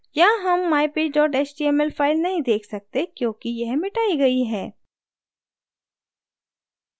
यहाँ हम mypage html file नहीं देख सकते क्योंकि यह मिटाई गयी है